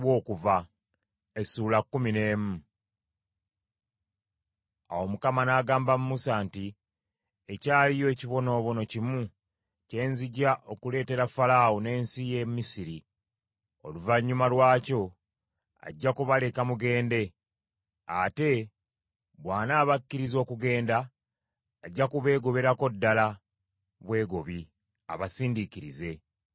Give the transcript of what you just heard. Awo Mukama n’agamba Musa nti, “Ekyaliyo ekibonoobono kimu kye nzija okuleetera Falaawo n’ensi y’e Misiri. Oluvannyuma lwakyo ajja kubaleka mugende; ate bw’anaabakkiriza okugenda, ajja kubeegoberako ddala bwegobi abasindiikirize.